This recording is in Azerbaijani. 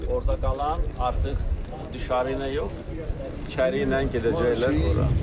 Orda qalan artıq düşə ilə yox, içəri ilə gedəcəklər ora.